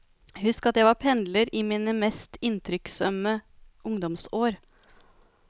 Husk at jeg var pendler i mine mest inntrykksømme ungdomsår.